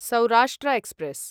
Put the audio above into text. Saurashtra express